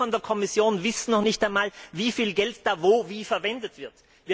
Und Sie von der Kommission wissen noch nicht einmal, wie viel Geld dort wo und wie verwendet wird.